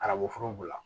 Arabuforo b'u la